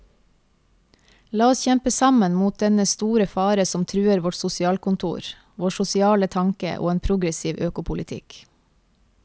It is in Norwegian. La oss kjempe sammen mot dennne store fare som truer vårt sosialkontor, vår sosiale tanke og en progressiv økopolitikk.